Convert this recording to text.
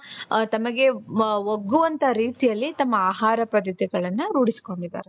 ತಮಗೆ ಒಗ್ಗುವಂತಹ ರೀತಿಯಲ್ಲಿ ತಮ್ಮ ಆಹಾರ ಪದ್ಧತಿಗಳನ್ನ ರೂಢಿಸಿಕೊಂಡಿದ್ದಾರೆ .